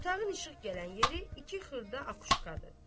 Otağın işıq gələn yeri iki xırda akuşkadır.